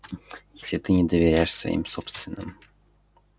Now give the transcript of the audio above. если ты не доверяешь своим собственным